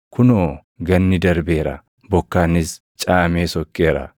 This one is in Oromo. Kunoo! Ganni darbeera; bokkaanis caamee sokkeera.